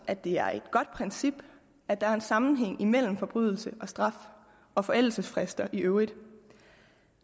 at det er et godt princip at der er en sammenhæng imellem forbrydelse og straf og forældelsesfrister i øvrigt